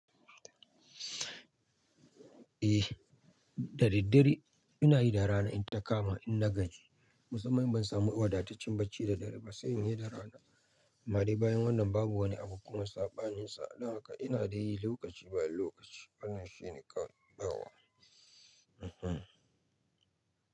Eh, da daddare ina yi da rana in ta kama inna gaji. Musamman ban samu wadataccen bacci da dare ba, sai in yi da rana. Amma dai bayan wannan babu wani abu kuma saɓaninsa. Don haka ina dai yi lokaci bayan lokaci. Wannan shine kawai yauwa. Ehem.